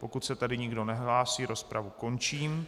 Pokud se tedy nikdo nehlásí, rozpravu končím.